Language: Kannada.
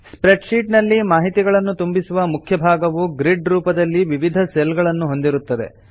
ಸ್ಪ್ರೆಡ್ ಶೀಟ್ ನಲ್ಲಿ ಮಾಹಿತಿಗಳನ್ನು ತುಂಬಿಸುವ ಮುಖ್ಯ ಭಾಗವು ಗ್ರಿಡ್ ರೂಪದಲ್ಲಿ ವಿವಿಧ ಸೆಲ್ ಗಳನ್ನು ಹೊಂದಿರುತ್ತದೆ